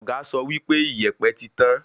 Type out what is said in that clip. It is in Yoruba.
Ọ̀gá sọ wípé ìyèpẹ̀ ti tán